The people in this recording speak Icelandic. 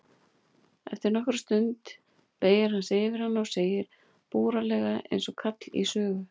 Eftir allnokkra stund beygir hann sig yfir hana og segir búralega einsog kall í sögu